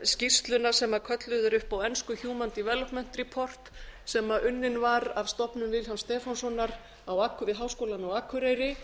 skýrsluna sem kölluð er upp á ensku human development report sem unnin var af stofnun vilhjálms stefánssonar við háskólann á akureyri